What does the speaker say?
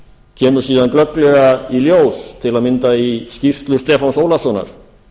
kemur síðan glögglega í ljós til að mynda í skýrslu stefáns ólafssonar